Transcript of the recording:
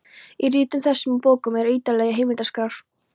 Í ritum þessum og bókum eru ýtarlegar heimildaskrár.